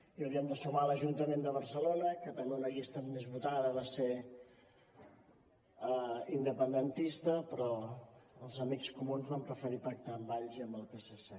i hauríem de sumar l’ajuntament de barcelona que també una llista més votada va ser independentista però els amics comuns van preferir pactar amb valls i amb el psc